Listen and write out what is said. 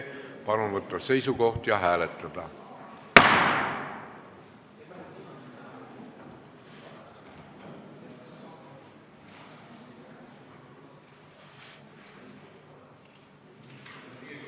Palun võtta seisukoht ja hääletada!